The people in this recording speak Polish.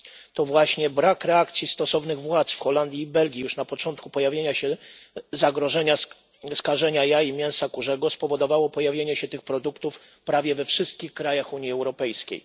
To właśnie brak reakcji stosownych władz w Holandii i Belgii już na początku pojawienia się zagrożenia skażenia jaj i mięsa kurzego spowodowało pojawienie się tych produktów prawie we wszystkich krajach Unii Europejskiej.